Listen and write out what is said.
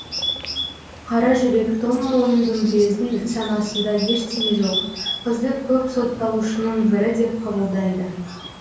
қаражүрек тоңмойын дүмбілездің санасында ештеме жоқ қызды көп сотталушының бірі деп қабылдайды